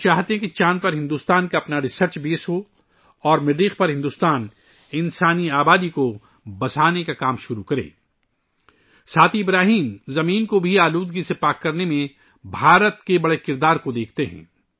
وہ چاہتے ہیں کہ چاند پر ہندوستان کا اپنا ریسرچ بیس ہو اور ہندوستان مریخ پر انسانی آبادی کو آباد کرنے کا کام شروع کرے نیز ابراہیم زمین کو آلودگی سے پاک بنانے میں ہندوستان کے لئے ایک بڑا کردار دیکھتے ہیں